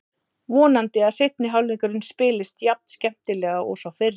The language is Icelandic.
Vonandi að seinni hálfleikurinn spilist jafn skemmtilega og sá fyrri.